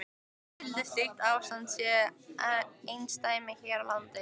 Skyldi slíkt ástand sé einsdæmi hér á landi?